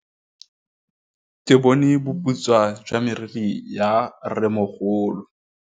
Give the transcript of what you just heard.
Ke bone boputswa jwa meriri ya rrêmogolo.